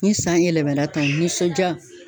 Ni san in yɛlɛmana tan , o nisɔnja.